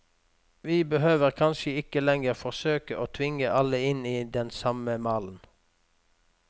Vi behøver kanskje ikke lenger forsøke å tvinge alle inn i den samme malen.